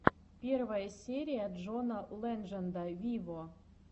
первая серия джона ледженда виво